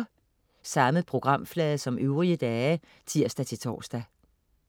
Samme programflade som øvrige dage (tirs-tors)